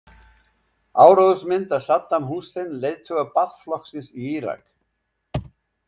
Áróðursmynd af Saddam Hussein, leiðtoga Baath-flokksins í Írak.